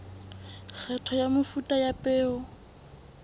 kgetho ya mefuta ya peo